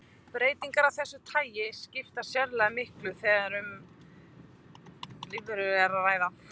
Breytingar af þessu tagi skipta sérlega miklu þegar um lífverur er að ræða.